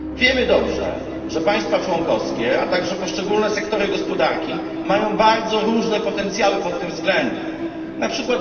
Wiemy dobrze, że państwa członkowskie, a także poszczególne sektory gospodarki mają bardzo różne potencjały pod tym względem, np.